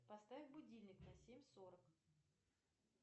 поставь будильник на семь сорок